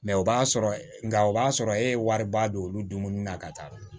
Mɛ o b'a sɔrɔ nka o b'a sɔrɔ e ye wariba don olu dumuni na ka taa